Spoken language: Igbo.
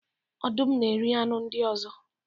Ọdụm na-eri anụ ndị ọzọ.